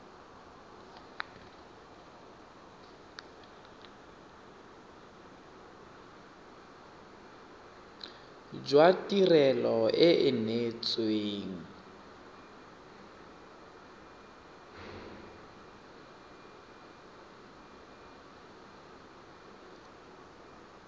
jwa tirelo e e neetsweng